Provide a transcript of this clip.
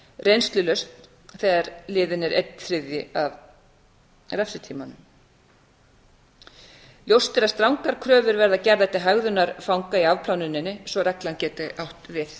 reynslulausn þegar liðinn er einn þriðji af refsitímanum ljóst er að strangar kröfur verða gerðar til hegðunar fanga í afplánuninni svo að reglan geti átt við